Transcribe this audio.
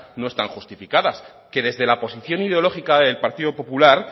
no están justificadas que desde la posición ideológica del partido popular